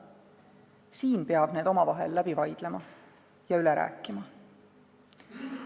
Siin peab need omavahel läbi vaidlema ja üle rääkima.